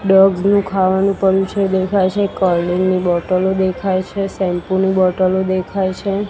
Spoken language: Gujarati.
ડોગ્સ નું ખાવાનું પડ્યું છે દેખાય છે કૉલડ્રિન્ક ની બોટલો દેખાય છે શેમ્પૂ ની બોટલો દેખાય છે.